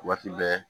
Waati bɛɛ